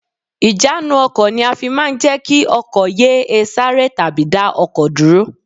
Ìjánu ọkọ̀ ni a máa fi ń jẹ́ kí ọkọ̀ yé e sáré tàbí dá ọkọ̀ dúró